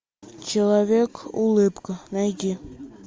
человек улыбка найди